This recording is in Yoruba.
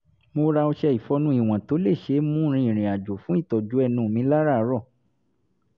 mo ra ọṣẹ ìfọnu ìwọ̀n tó ṣe é mú rin ìrìn-àjò fún ìtọ́jú ẹnu mi láràárọ̀